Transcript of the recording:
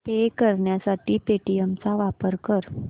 पे करण्यासाठी पेटीएम चा वापर कर